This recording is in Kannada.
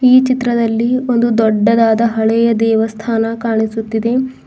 ಈ ಚಿತ್ರದಲ್ಲಿ ಒಂದು ದೊಡ್ಡದಾದ ಹಳೆಯ ದೇವಸ್ಥಾನ ಕಾಣಿಸುತ್ತಿದೆ.